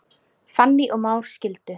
Fanný og Már skildu.